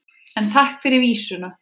En takk fyrir vísuna!